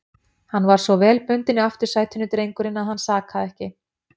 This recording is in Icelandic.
Hann var svo vel bundinn í aftursætinu, drengurinn, að hann sakaði ekki.